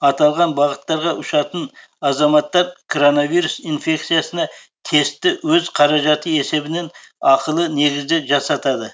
аталған бағыттарға ұшатын азаматтар кронавирус инфекциясына тестті өз қаражаты есебінен ақылы негізде жасатады